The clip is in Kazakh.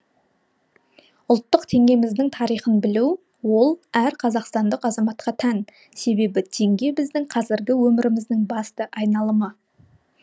ұлттық теңгеміздің тарихын білу ол әр қазақстандық азаматқа тән себебі теңге біздің қазіргі өміріміздің басты айналымы